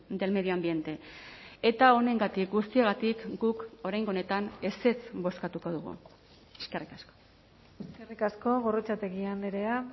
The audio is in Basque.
del medio ambiente eta honengatik guztiagatik guk oraingo honetan ezetz bozkatuko dugu eskerrik asko eskerrik asko gorrotxategi andrea